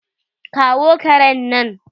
kawo karen nan!